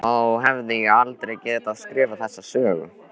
Þá hefði ég aldrei getað skrifað þessa sögu.